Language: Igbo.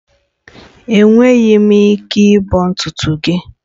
Enweghị m ike ịbọ ntutu gị